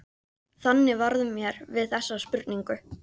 Þannig varð mér við þessa spurningu.